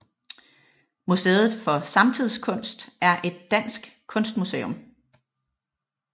Museet for Samtidskunst er et dansk kunstmuseum